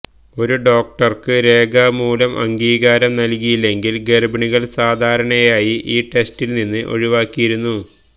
ഒരു ഡോക്ടർക്ക് രേഖാമൂലം അംഗീകാരം നൽകിയില്ലെങ്കിൽ ഗർഭിണികൾ സാധാരണയായി ഈ ടെസ്റ്റിൽ നിന്ന് ഒഴിവാക്കിയിരിക്കുന്നു